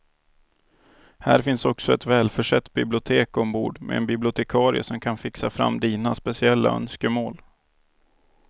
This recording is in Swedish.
Här finns också ett välförsett bibliotek ombord med en bibliotekarie som kan fixa fram dina speciella önskemål.